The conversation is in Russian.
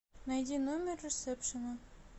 найди номер ресепшена